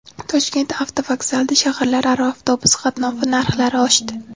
Toshkent avtovokzalida shaharlararo avtobus qatnovi narxlari oshdi.